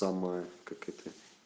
там и как это